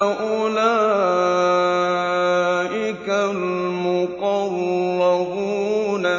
أُولَٰئِكَ الْمُقَرَّبُونَ